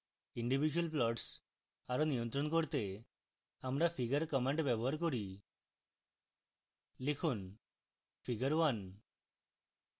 individual plots আরো নিয়ন্ত্রণ করতে আমরা figure command ব্যবহার করি